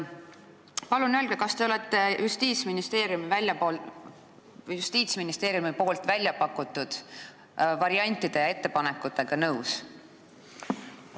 Palun öelge, kas te olete Justiitsministeeriumi pakutud variantide ja ettepanekutega nõus?